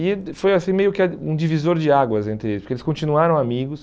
E foi assim meio que um divisor de águas entre eles, porque eles continuaram amigos.